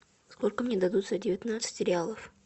сколько мне дадут за девятнадцать реалов